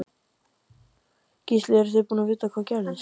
Gísli eruð þið búin að, vitið þið hvað gerðist?